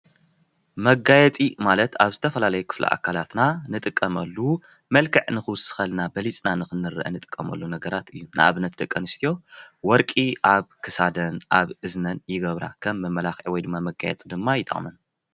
መጋየፂ ማለት ኣብ ዝተፈላለዩ ክፍለ ኣካላትና እንጥቀመሉ መልክዕ ንክውስከልና በሊፅና ንክንረአ እንጥቀመሉ ነገራት እዩ፡፡ ንኣብነት ደቂ ኣነስትዮ ወርቂ ኣብ ክሳደን ኣብ እዝነን ይገብራ ከም መመላኪዒ ወይ ድማ መጋየፂ ድማ ይጥቅመን፡፡